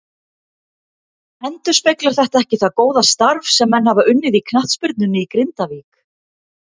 Endurspeglar þetta ekki það góða starf sem menn hafa unnið í knattspyrnunni í Grindavík.